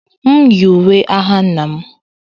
M yi uwe agha nna m